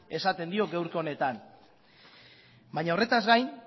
esaten dio gaurko honetan baina horretaz gain